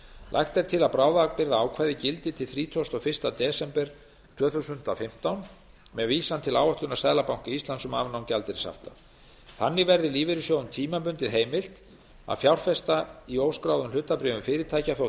lagt er til að bráðabirgðaákvæðið gildi til þrítugasta og fyrsta desember tvö þúsund og fimmtán með vísan til áætlunar seðlabanka íslands um afnám gjaldeyrishafta þannig verði lífeyrissjóðum tímabundið heimilt að fjárfesta í óskráðum hlutabréfum fyrirtækja þótt